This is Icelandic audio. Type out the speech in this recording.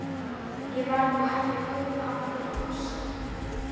Ég var nú ekki að kaupa af þér kossa.